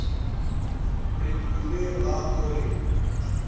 re mmileng ga o re